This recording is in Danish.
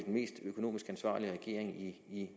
mest økonomisk ansvarlige regering i